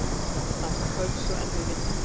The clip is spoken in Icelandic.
Það var köld og erfið vinna.